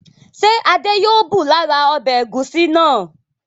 Ṣé Adé yóò bù lára ọbẹ̀ ẹ̀gúsí náà?